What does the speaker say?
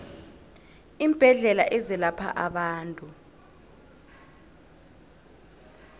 iimbedlela ezelapha abantu